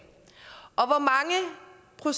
og